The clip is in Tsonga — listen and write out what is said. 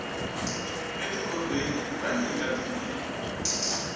e ti kobeni ra nyika tinyiko